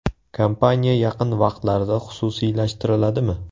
Kompaniya yaqin vaqtlarda xususiylashtiriladimi?